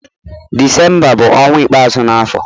Disemba bu onwa ikpeazu na afo